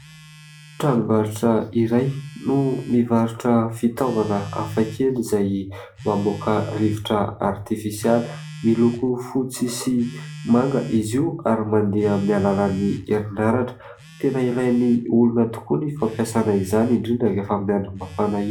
Tranombarotra iray no mivarotra fitaovana hafa kely izay mamoaka rivotra artifisialy. Miloko fotsy sy manga izy io ary mandeha amin'ny alalan'ny herinaratra. Tena ilain'ny olona tokoa ny fampiasana izany, indrindra rehefa amin'ny andro mafana.